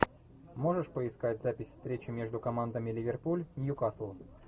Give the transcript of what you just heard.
можешь поискать запись встречи между командами ливерпуль нью касл